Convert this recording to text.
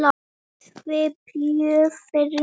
Svíþjóð fyrir mér.